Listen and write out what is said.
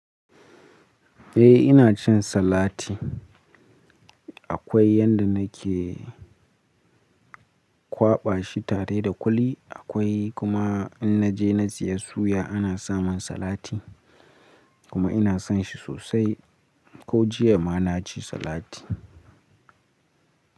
Eh ina cin salati. Akwai yanda nake kwaɓa shi tare da kuli, akwai kuma in naje na siya suya ana samun salati kuma ina son shi sosai. Ko jiya ma na ci salati.